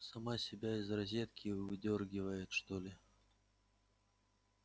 сама себя из розетки выдёргивает что ли